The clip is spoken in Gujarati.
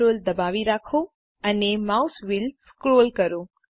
CTRL દબાવી રાખો અને માઉસ વ્હીલ સ્ક્રોલ કરો